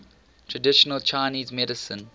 traditional chinese medicine